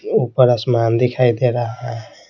ऊपर आसमान दिखाई दे रहा है।